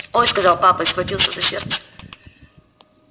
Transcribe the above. ой сказал папа и схватился за сердце